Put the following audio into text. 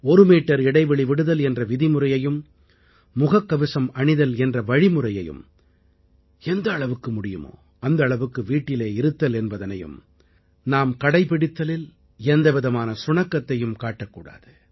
ஒரு மீட்டர் இடைவெளி விடுதல் என்ற விதிமுறையையும் முகக்கவசம் அணிதல் என்ற வழிமுறையையும் எந்த அளவுக்கு முடியுமோ அந்த அளவுக்கு வீட்டிலே இருத்தல் என்பதனையும் நாம் கடைப்பிடிப்பதிலில் எந்தவிதமான சுணக்கத்தையும் காட்டக் கூடாது